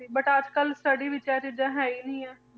But ਅੱਜ ਕੱਲ੍ਹ study ਵਿੱਚ ਇਹ ਚੀਜ਼ਾਂ ਹੈ ਹੀ ਨੀ ਹੈ।